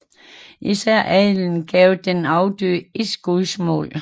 Især adelen gav den afdøde et skudsmål